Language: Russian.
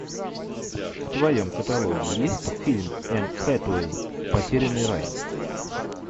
в твоем каталоге есть фильм энн хэтэуэй потерянный рай